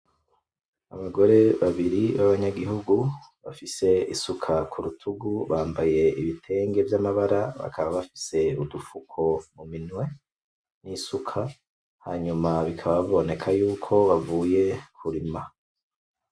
Abagore babiri b'abanyagihugu bafise isuka ku rutugu bambaye ibitenge vy'amabara bakaba bafise udufuko mu minwe, n'isuka hanyuma bikaba biboneka yuko bavuye kurima.